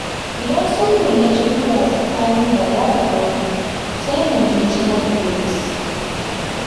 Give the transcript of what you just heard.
Idan sulhun ya ci tura tsakanin Bala da Audu, sai mu je caji ofis